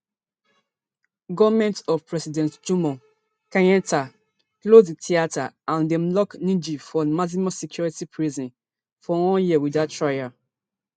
goment of president jomo kenyatta close di theatre and dem lock ngg for maximum security prison for one year without trial